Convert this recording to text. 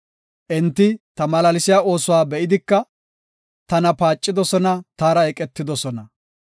Enti ta malaalsiya oosuwa be7idika, tana paacidosona; taara eqetidosona.